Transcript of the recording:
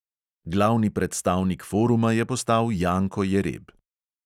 Glavni predstavnik foruma je postal janko jereb.